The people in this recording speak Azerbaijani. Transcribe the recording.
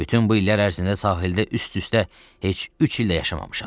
Bütün bu illər ərzində sahildə üst-üstə heç üç il də yaşamamışam.